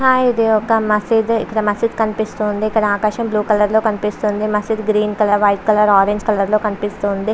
Hi ఇది ఒక మసీదు. ఇక్కడ మసీదు కనిపిస్తుంది. ఇక్కడ ఆకాశం బ్లూ కలర్ లో కనిపిస్తుంది. మసీద్ green colour orange colour white colour లో కనిపిస్తుంది.